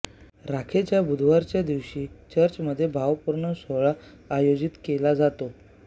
राखेच्या बुधवारच्या दिवशी चर्चमध्ये भावपूर्ण प्रार्थनासोहळा आयोजित केला जातो